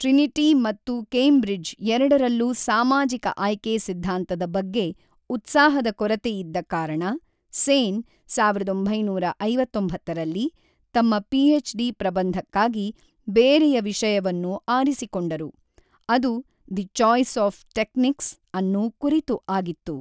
Trinity ಮತ್ತು Cambridge ಎರಡರಲ್ಲೂ ಸಾಮಾಜಿಕ ಆಯ್ಕೆ ಸಿದ್ಧಾಂತದ ಬಗ್ಗೆ ಉತ್ಸಾಹದ ಕೊರತೆಯಿದ್ದ ಕಾರಣ, ಸೇನ್, ಸಾವಿರದ ಒಂಬೈನೂರಾ ಐವತ್ತೊಂಬತ್ತು ರಲ್ಲಿ, ತಮ್ಮ ಪಿಎಚ್‌ಡಿ ಪ್ರಬಂಧಕ್ಕಾಗಿ ಬೇರೆಯ ವಿಷಯವನ್ನು ಆರಿಸಿಕೊಂಡರು, ಅದು ದಿ ಚಾಯ್ಸ್ ಆಫ್ ಟೆಕ್ನಿಕ್ಸ್ ಅನ್ನು ಕುರಿತು ಆಗಿತ್ತು.